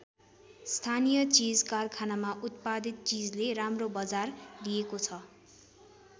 स्थानीय चीज कारखानामा उत्पादित चीजले राम्रो बजार लिएको छ।